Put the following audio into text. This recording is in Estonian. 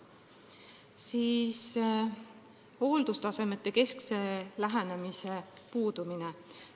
Puudub hooldustasemekeskne lähenemine.